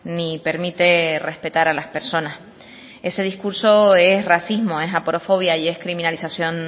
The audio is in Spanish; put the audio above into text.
ni permite respetar a las personas ese discurso es racismo es aporofobia y es criminalización